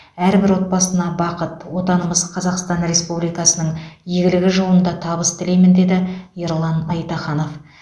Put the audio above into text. әрбір отбасына бақыт отанымыз қазақстан республикасының игілігі жолында табыс тілеймін деді ерлан айтаханов